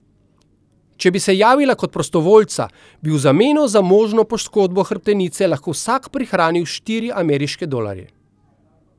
Če bi se javila kot prostovoljca, bi v zameno za možno poškodbo hrbtenice lahko vsak prihranil štiri ameriške dolarje.